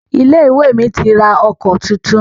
Ilé-ìwé mi ti ra ọkọ̀ titun.